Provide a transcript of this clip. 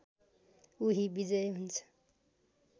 उही विजय हुन्छ